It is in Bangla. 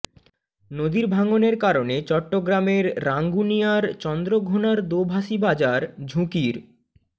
নদীর ভাঙনের কারণে চট্টগ্রামের রাঙ্গুনিয়ার চন্দ্রঘোনার দোভাষী বাজার ঝুঁকির